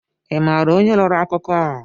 Ị maara onye rọrọ akụkọ a?